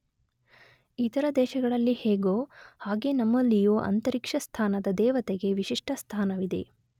ಇತರ ದೇಶಗಳಲ್ಲಿ ಹೇಗೋ ಹಾಗೆ ನಮ್ಮಲ್ಲಿಯೂ ಅಂತರಿಕ್ಷಸ್ಥಾನದ ದೇವತೆಗೆ ವಿಶಿಷ್ಟ ಸ್ಥಾನವಿದೆ.